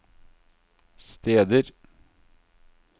steder